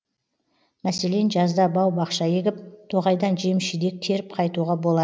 мәселен жазда бау бақша егіп тоғайдан жеміс жидек теріп қайтуға бола